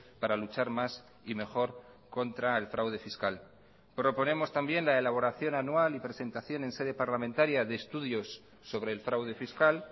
para luchar más y mejor contra el fraude fiscal proponemos también la elaboración anual y presentación en sede parlamentaria de estudios sobre el fraude fiscal